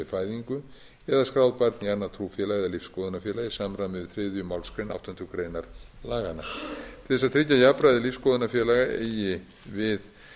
fæðingu eða skráð barn í annað trúfélag eða lífsskoðunarfélag í samræmi við þriðju málsgrein áttundu grein laganna til þess að tryggja jafnræði lífsskoðunarfélaga eigi við